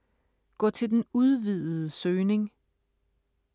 Gå til den udvidede søgning